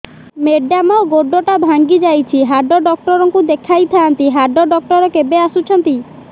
madam ଗୋଡ ଟା ଭାଙ୍ଗି ଯାଇଛି ହାଡ ଡକ୍ଟର ଙ୍କୁ ଦେଖାଇ ଥାଆନ୍ତି ହାଡ ଡକ୍ଟର କେବେ ଆସୁଛନ୍ତି